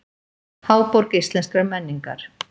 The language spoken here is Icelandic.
Háborg íslenskrar menningar